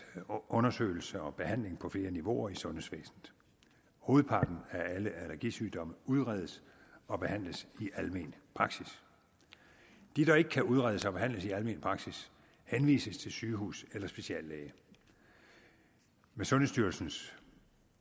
undersøgelse og behandling på flere niveauer i sundhedsvæsenet hovedparten af alle allergisygdomme udredes og behandles i almen praksis de der ikke kan udredes og behandles i almen praksis henvises til sygehus eller speciallæge med sundhedsstyrelsens